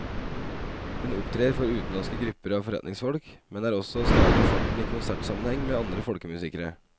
Hun opptrer for utenlandske grupper av forretningsfolk, men er også stadig på farten i konsertsammenheng med andre folkemusikere.